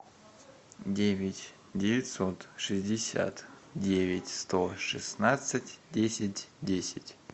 девять девятьсот шестьдесят девять сто шестнадцать десять десять